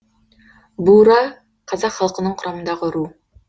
бура қазақ халқының құрамындағы ру